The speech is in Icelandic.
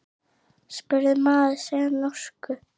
spurði maður sig á norsku.